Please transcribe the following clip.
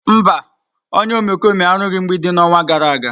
Mba, onye omekome arụghị mgbidi n'ọnwa gara aga.